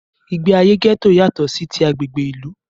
Ìgbé ayé gẹ́tò yátọ̀ sí tí agbègbè ìlú.